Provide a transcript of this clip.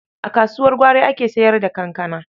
A kasuwar gwari ake sayar da kankana.